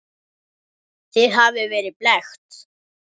Þið hafið verið blekkt.